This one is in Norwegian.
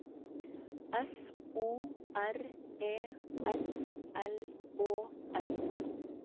F O R E S L Å S